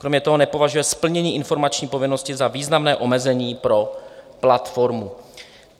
Kromě toho nepovažuje splnění informační povinnosti za významné omezení pro platformu.